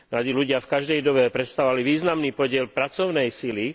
Mladí ľudia v každej dobe predstavovali významný podiel pracovnej sily.